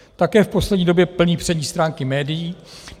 Také v poslední době plní přední stránky médií.